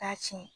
K'a tiɲɛ